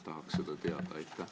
Tahaks seda teada.